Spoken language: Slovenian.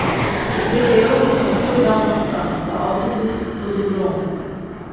Deset evrov sem takoj dal na stran za avtobus do Dubrovnika.